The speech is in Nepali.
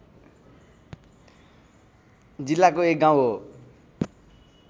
जिल्लाको एक गाउँ हो